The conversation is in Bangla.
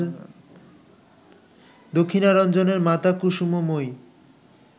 দক্ষিণারঞ্জণের মাতা কুসুমময়ী